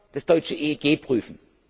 ob wir das deutsche EEG prüfen.